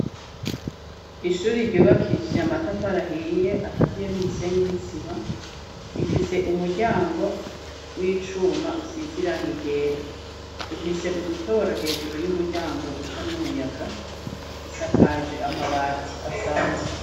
Ishuri ryubakishije amatafari ahiye akaziye n'umusenyi n'isima rifise umuryango w'icuma usize irangi ryera rifise udutoboro hejuru y'umuryango ducamwo umuyaga risakaje amabati asanzwe.